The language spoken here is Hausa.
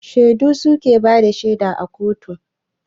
Shaidu suke bada shaida a kotu